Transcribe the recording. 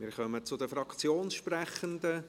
Wir kommen zu denFraktionssprechenden.